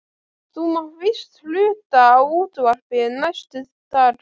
Þú mátt víst hluta á útvarpið næstu daga.